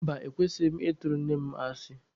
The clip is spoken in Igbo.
Mba, ekwesighị m ị tụrụ nne mụ asị.